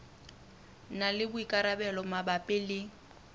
na le boikarabelo mabapi le